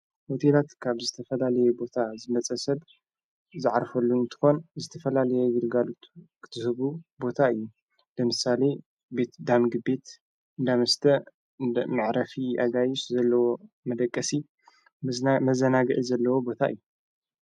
ሆቴላት ካብ ዝተፈላልየ ቦታ ዝመጸሰብ ዝዓርፈሉንትኾን ዝተፈላልየ ግርጋሉት ክትህቡ ቦታ እዩ ልምሳሌ ቤት ዳምጊ ቤት ዳምስተ ማዕረፊ ኣጋይሽ ዘለዎ መደቀሲ መዘናግዒ ዘለዎ ቦታ እዩ።